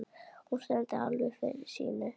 Hún stendur alveg fyrir sínu.